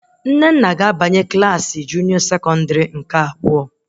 Nnenna ga-abanye Klassị sekọndrị abụọ nke junịọ